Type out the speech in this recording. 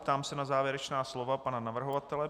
Ptám se na závěrečná slovo pana navrhovatele.